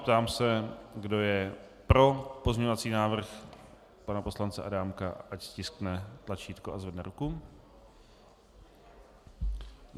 Ptám se, kdo je pro pozměňovací návrh pana poslance Adámka, ať stiskne tlačítko a zvedne ruku.